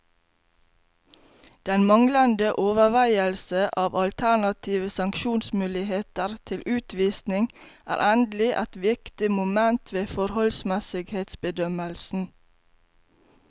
Den manglende overveielse av alternative sanksjonsmuligheter til utvisning er endelig et viktig moment ved forholdsmessighetsbedømmelsen.